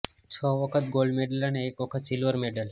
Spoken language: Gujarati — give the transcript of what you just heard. છ વખત ગોલ્ડ મેડલ અને એક વખત સિલ્વર મેડલ